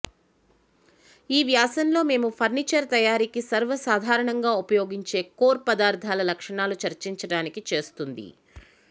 ఈ వ్యాసం లో మేము ఫర్నిచర్ తయారీకి సర్వసాధారణంగా ఉపయోగించిన కోర్ పదార్థాల లక్షణాలు చర్చించడానికి చేస్తుంది